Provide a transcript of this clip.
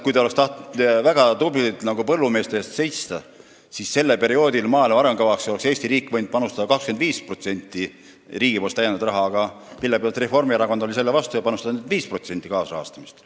Kui te oleks tahtnud väga tublilt põllumeeste eest seista, siis oleks Eesti riik võinud sellel perioodil anda maaelu arengukavasse 25%-se täiendava rahalise panuse, aga millegipärast oli Reformierakond selle vastu, piirdudes ainult 5%-se kaasrahastamisega.